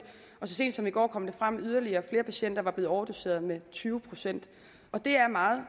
og så sent som i går kom det frem at yderligere flere patienter var blevet overdoseret med tyve procent og det er meget